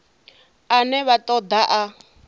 ane vha ṱo ḓa a